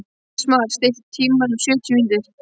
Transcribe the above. Ísmar, stilltu tímamælinn á sjötíu mínútur.